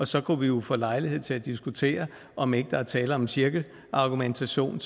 så kunne vi jo få lejlighed til at diskutere om ikke der er tale om en cirkelargumentation